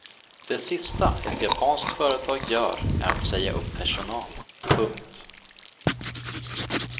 Det sista ett japanskt företag gör är att säga upp personal. punkt